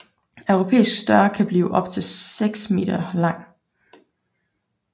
Europæisk stør kan blive op til 6 m lang